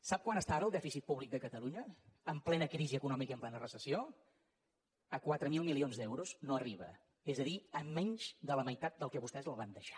sap a quant està ara el dèficit públic de catalunya en plena crisi econòmica i en plena recessió a quatre mil milions d’euros no arriba és a dir a menys de la meitat del que vostès el van deixar